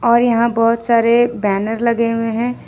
और यहां बहुत सारे बैनर लगे हुए हैं।